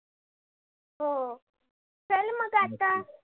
हो चल मग आता.